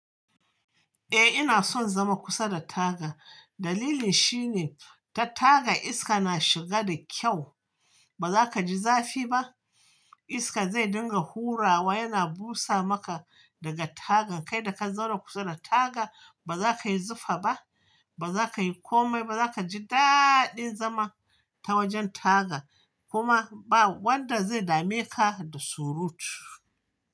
Eh ina son zama kusa da taga. Dalilin shine ta taga iska na shiga da kyau. Ba za ka ji zafi ba. Iska zai dinga hurawa yana busa maka daga tagan kai da ka zauna kusa da taga ba za ka yi zufa ba, ba za ka yi komai ba, za ka ji daɗin zama ta wajen taga kuma ba wanda zai dame ka da surutu.